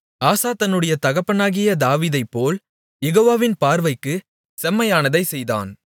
ஆசா தன்னுடைய தகப்பனாகிய தாவீதைப்போல் யெகோவாவின் பார்வைக்குச் செம்மையானதைச் செய்தான்